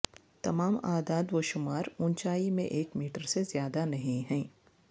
تمام اعداد و شمار اونچائی میں ایک میٹر سے زیادہ نہیں ہیں